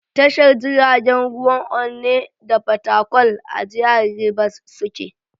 Tashar jiragen ruwan Onne da Fatakwal a jihar Ribas suke.